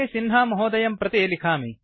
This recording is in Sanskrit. सिंह महोदयं प्रति लिखामि